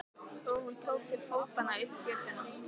Og hún tók til fótanna upp götuna.